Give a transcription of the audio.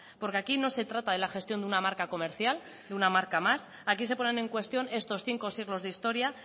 porque aquí no se trata de la gestión de una marca comercial de una marca más aquí se ponen en cuestión estos cinco siglos de historia